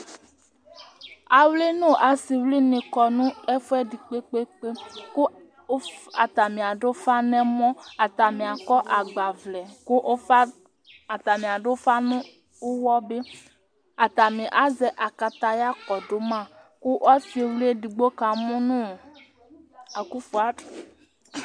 Awli nʋ asiwli ni kɔ nʋ ɛfʋɛdi kpe kpe kpe Atani adu ɔfa nʋ ɔwa kʋ atani akɔ agba vlɛ Atani adu ʋfa nʋ ʋwɔ bi Atani azɛ akaya kɔdu ma kʋ ɔsiwli ɛdigbo ka mu nʋ akɔfɔr